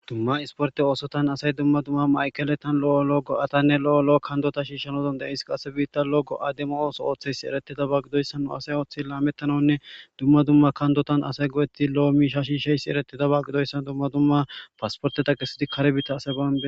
dumma isporte oosotan asay dumma dumma maykeletan lo7o lo7o go7atanne lo7o lo7o kandota shiishanodonde is qasse biitta lo go7ademo ooso ooththeysi eretida ba gidoyssa nu asay ooththey laamettananne dumma dumma kandotan asay go7etti lo7o miisha shiisheysi eretida ba gidoyssan dumma dumma paasporteta kessidi kare biitta asay bami